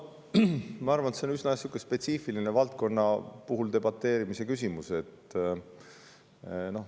Ma arvan, et see on üsna spetsiifiline valdkonnapõhine debateerimise küsimus.